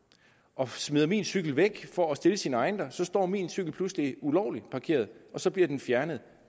og smider min cykel væk for at stille sin egen der så står min cykel pludselig ulovligt parkeret og så bliver den fjernet